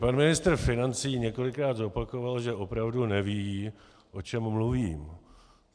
Pan ministr financí několikrát zopakoval, že opravdu neví, o čem mluvím.